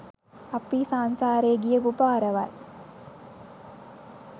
අපි සංසාරේ ගියපු පාරවල්.